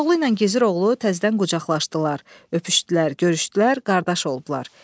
Koroğlu ilə Giziroğlu təzədən qucaqlaşdılar, öpüşdülər, görüşdülər, qardaş oldular.